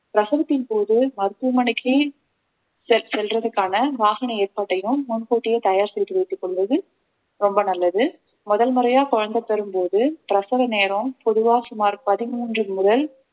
பிரசவத்தின் போது மருத்துவமனைக்கே செல்~ செல்றதுக்கான வாகன ஏற்பாட்டையும் முன் கூட்டியே தயார் செய்து வைத்துக் கொள்வது ரொம்ப நல்லது முதல் முறையா குழந்தை பெறும்போது பிரசவ நேரம் பொதுவா சுமார் பதிமூன்று முதல்